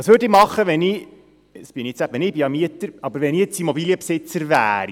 Was würde ich machen, wenn ich – ich bin es eben nicht, ich bin Mieter – Immobilienbesitzer wäre?